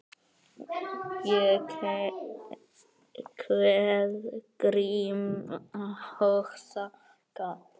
Ég kveð Grím og þakka.